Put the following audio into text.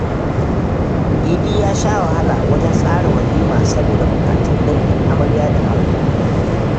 Idi ya sha wahala wajen tsara walima saboda buƙatun dangin amarya da ango.